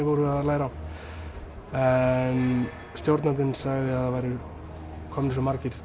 voru að læra á en stjórnandinn sagði að það væru komnir svo margir